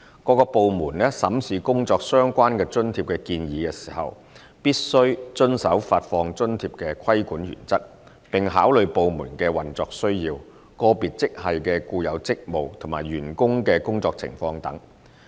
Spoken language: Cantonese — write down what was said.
各部門審視工作相關津貼的建議時，必須遵守發放津貼的規管原則，並考慮部門的運作需要、個別職系的固有職務及員工的工作情況等。